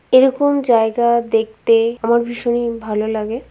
এরকম জায়গা দেখতে আমার ভীষণই ভালো লাগে।